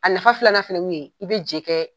A nafa filanan fana ye min ye, i bɛ je kɛ